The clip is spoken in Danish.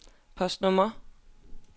postnummer